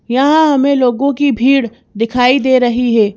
यहां हमें लोगों की भीड़ दिखाई दे रही है।